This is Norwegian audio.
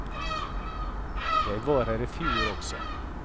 Jeg var her i fjor også.